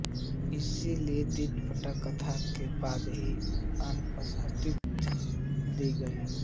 इसलिये दिट्टिकथा के बाद ही आनापानसतिकथा दी गई है